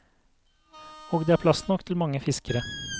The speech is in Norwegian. Og det er plass nok til mange fiskere.